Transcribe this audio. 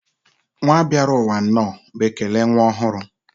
nwa bịarụ ụwa nnọọ bụ ekele nwa ọhụrụ.